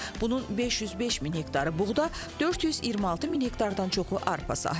Bunun 505 min hektarı buğda, 426 min hektardan çoxu arpa sahəsidir.